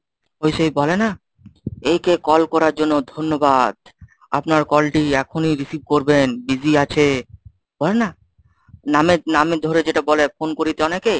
ওই সেই বলে না এই কে call করার জন্য ধন্যবাদ। আপনার call টি এখনই receive করবেন. Busy আছে, হয় না? নামে নামে ধরে যেটা বলে phone করিতে অনেকে।